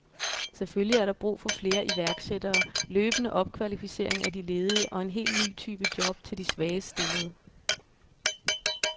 Selvfølgelig er der brug for flere iværksættere, løbende opkvalificering af de ledige og en helt ny type job til de svagest stillede.